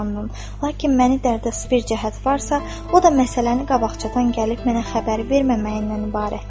Lakin məni dərdə salan bir cəhət varsa, o da məsələni qabaqcadan gəlib mənə xəbər verməməyindən ibarətdir.